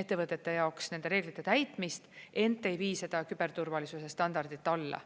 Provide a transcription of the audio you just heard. ettevõtete jaoks nende reeglite täitmist, ent ei vii seda küberturvalisuse standardit alla.